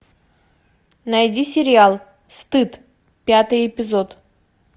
найди сериал стыд пятый эпизод